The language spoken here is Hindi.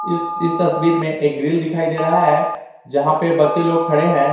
इस इस तस्वीर में एक ग्रिल दिखाई दे रहा है जहां पे बच्चे लोग खड़े हैं।